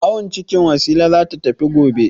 Awon ciki Wasila za ta tafi gobe.